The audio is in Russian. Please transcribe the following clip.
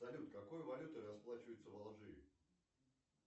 салют какой валютой расплачиваются в алжире